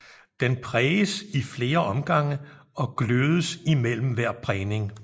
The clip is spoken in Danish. Den præges i flere omgange og glødes imellem hver prægning